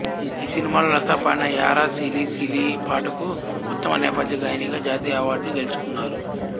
ఈ సినిమాలో లతా పాడిన యారా సిలి సిలీ పాటకు ఉత్తమ నేపథ్యగాయనిగా జాతీయ అవార్డు గెలుచుకున్నారు